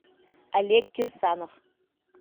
олег кирсанов